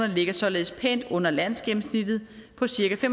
ligger således pænt under landsgennemsnittet på cirka